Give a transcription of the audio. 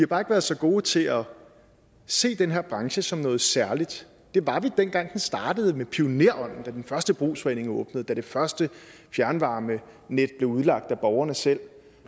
bare ikke været så gode til at se den her branche som noget særligt det var vi dengang den startede med pionerånden da den første brugsforening åbnede da det første fjernvarmenet blev udlagt af borgerne selv